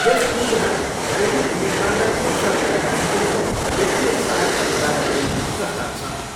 यस योजनामा घरेलु विनिर्माणलाई प्रोत्साहन दिनका निम्ति वित्तीय सहायता प्रदान गर्ने प्रस्ताव छ।